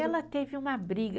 Ela teve uma briga.